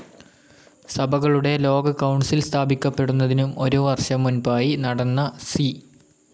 സഭകളുടെ ലോക കൌൺസിൽ സ്ഥാപിക്കപ്പെടുന്നതിനും ഒരു വർഷം മുൻപായി നടന്ന സി.